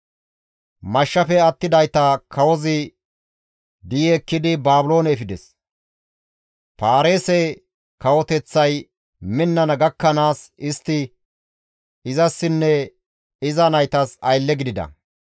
Mashshafe attidayta kawozi di7i ekkidi Baabiloone efides; Paarise kawoteththay minnana gakkanaas istti izassinne iza naytas aylle gidida.